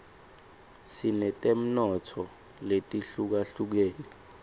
sinetemnotfo letihlukahlukene